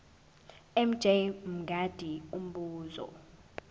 mj mngadi umbuzo